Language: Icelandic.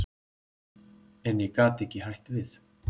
En ég gat ekki hætt við.